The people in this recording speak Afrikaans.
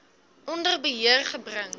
onder beheer gebring